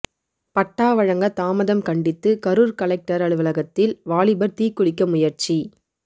பட்டா வழங்க தாமதம் கண்டித்து கரூர் கலெக்டர் அலுவலகத்தில் வாலிபர் தீக்குளிக்க முயற்சி